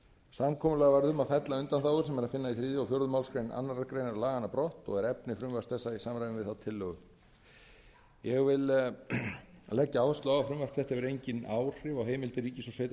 samkomulag varð um að fella undanþágur sem eru að finna í þriðja og fjórðu málsgrein annarrar greinar laganna brott og er efni frumvarps þessa í samræmi við þá tillögu ég vil leggja áherslu á að frumvarp þetta hefur engin áhrif á heimildir ríkis